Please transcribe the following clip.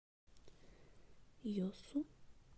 йосу